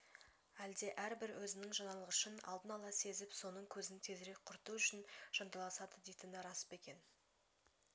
әлде әрбір өзінің жаналғышын алдын ала сезіп соның көзін тезірек құрту үшін жанталасады дейтіні рас па екен